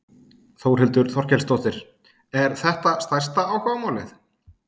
Þórhildur Þorkelsdóttir: Er þetta stærsta áhugamálið?